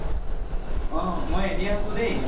অ মই এনে আছো দেই।